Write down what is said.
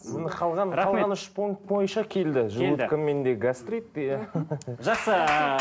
қалған үш пункт бойынша келді желудкомен де гастрит те жақсы